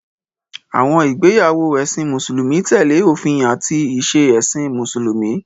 Àwọn ìgbéyàwó ẹ̀sìn Mùsùlùmí tẹ̀lé òfin àti ìṣe ẹ̀sìn Mùsùlùmí.